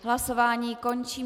Hlasování končím.